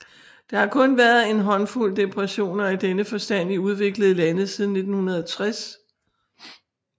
Der har kun været en håndfuld depressioner i denne forstand i udviklede lande siden 1960